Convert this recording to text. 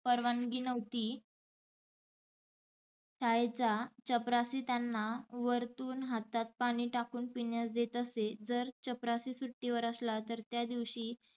परवानगी नव्हती. शाळेचा चपराशी त्यांना वरतुन हातात पाणी टाकुन पिण्यास देत असे, जर चपराशी सुट्टीवर असला तर त्या दिवशी